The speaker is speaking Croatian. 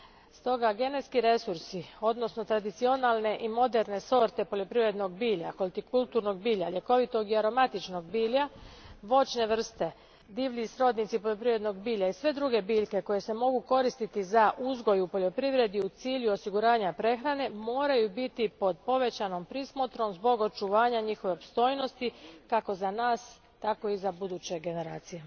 Stoga, genetski resursi odnosno tradicionalne i moderne sorte poljoprivrednog bilja, hortikulturnog bilja, ljekovitog i aromatičnog bilja, voćne vrste, divlji srodnici poljoprivrednog bilja i sve druge biljke koje se mogu koristiti za uzgoj u poljoprivredi u cilju osiguranja prehrane, moraju biti pod povećanom prismotrom zbog očuvanja njihove opstojnosti kako za nas, tako i za buduće generacije.